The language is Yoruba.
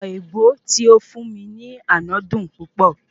Ọ̀pọ̀ èbó tí ó fún mi ní àná dun púpọ̀